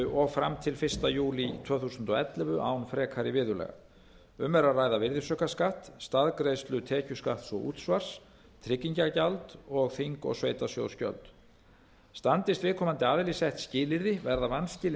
og fram til fyrsta júlí tvö þúsund og ellefu án frekari viðurlaga um er að ræða virðisaukaskatt staðgreiðslu tekjuskatts og útsvars tryggingagjald og þing og sveitarsjóðsgjöld standist viðkomandi aðili sett skilyrði verða vanskilin